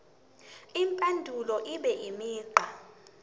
impendulo ibe imigqa